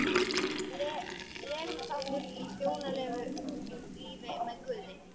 legur þáttur í hjónalífinu með guði.